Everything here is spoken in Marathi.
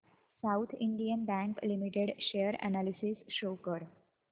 south Indian Bank Limited share analysis show कर